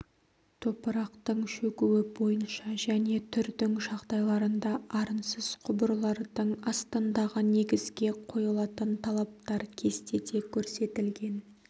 топырақтың шөгуі бойынша және түрдің жағдайларында арынсыз құбырлардың астындағы негізге қойылатын талаптар кестеде көрсетілген